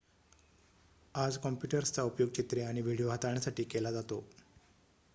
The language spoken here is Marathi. आज कॉम्प्युटर्सचा उपयोग चित्रे आणि व्हिडिओ हाताळण्यासाठी केला जातो